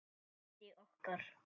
bandi okkar.